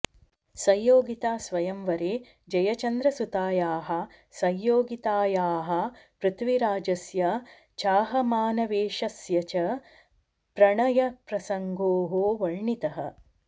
संयोगितास्वयंवरे जयचन्द्रसुतायाः संयोगितायाः पृथ्वीराजस्य चाहमानवेश्यस्य च प्रणयप्रसङ्गो वर्णितः